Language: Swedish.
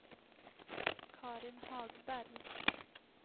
Carin Hagberg